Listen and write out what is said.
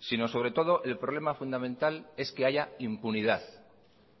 sino sobre todo el problema fundamental es que haya impunidad